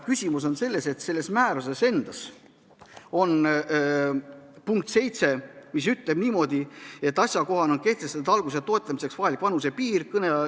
Küsimus on selles, et selles määruses endas on punkt 7, mis ütleb niimoodi, et asjakohane on kehtestada algatuse toetamiseks vajalik vanusepiir.